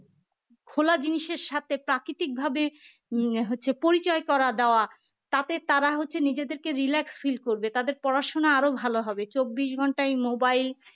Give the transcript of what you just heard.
খোলা জিনিসের সাথে প্রাকৃতিকভাবে উম হচ্ছে পরিচয় করিয়ে দেওয়া তাতে তারা হচ্ছে নিজেদেরকে relax feel করবে তাদের পড়াশোনা আরো ভালো হবে চব্বিশ ঘন্টায় mobile